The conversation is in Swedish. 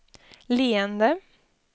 leende